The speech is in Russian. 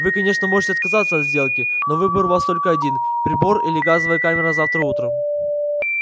вы конечно можете отказаться от сделки но выбор у вас только один прибор или газовая камера завтра утром